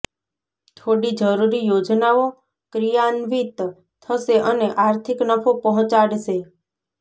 થોડી જરૂરી યોજનાઓ ક્રિયાન્વિત થશે અને આર્થિક નફો પહોંચાડશે